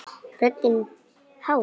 Röddin hás.